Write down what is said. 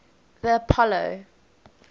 the apollo